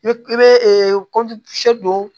I bɛ i bɛ don